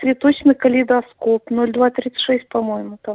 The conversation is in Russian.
цветочный калейдоскоп ноль два тридцать шесть по-моему там